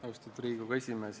Austatud Riigikogu esimees!